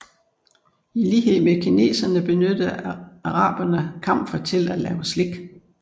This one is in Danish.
I lighed med kineserne benyttede arabene kamfer til at lave slik